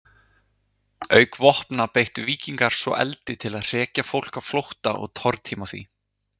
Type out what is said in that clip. Auk vopna beittu víkingar svo eldi til að hrekja fólk á flótta og tortíma því.